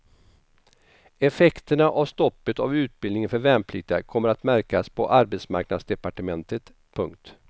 Effekterna av stoppet av utbildningen för värnpliktiga kommer att märkas på arbetsmarknadsdepartementet. punkt